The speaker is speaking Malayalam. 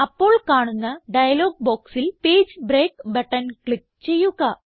അപ്പോൾ കാണുന്ന ഡയലോഗ് ബോക്സിൽ പേജ് ബ്രേക്ക് ബട്ടൺ ക്ലിക്ക് ചെയ്യുക